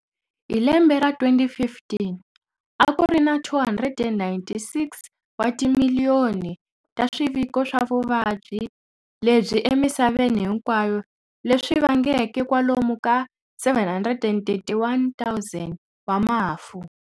Hi lembe ra 2015, akurina 296 wa timiliyoni ta swiviko swa vuvabyi lebyi emisaveni hinkwayo leswi vangeke kwalomu ka 731,000 wa mafu.